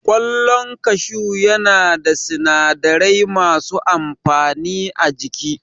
Ƙwallon kashu ya na da sinadarai masu amfani a jiki